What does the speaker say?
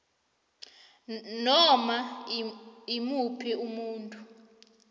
noma imuphi umuntu